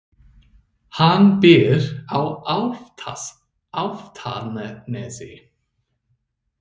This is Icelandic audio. Hann býr á Álftanesi.